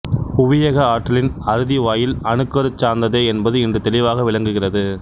புவியக ஆற்றலின் அறுதி வாயில் அணுக்கரு சார்ந்ததே என்பது இன்று தெளிவாக விளங்குகிறது